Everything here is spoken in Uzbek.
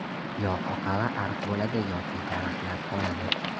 Yo oqava ariq bo‘ladi yoki daraxtlar qoladi.